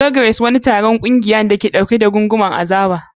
Log Race. Wani taron ƙungiya, wanda mutane takwas ke ɗauke da gungumen azaba.